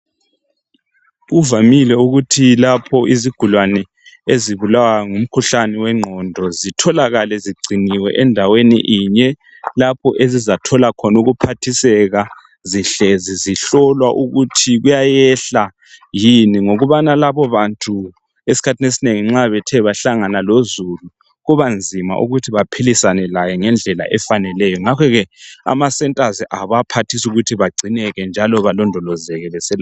Kuvamile ukuthi lapho izigulane ezibulawa ngumkhuhlane wengqondo zitholakale zigciniwe endaweni inye lapho ezizathola ukuphathiseka zihlezi zihlolwa ukuthi kuyayehla yini ngokubana labo bantu esikhathini esinengi nxa Bethe bahlangana lozulu kuba nzima ukuthi baphilisane laye ngendlela efaneleyo. Ngakhoke ama centers abaphathisa ukuthi bagcine njalo balondolozeke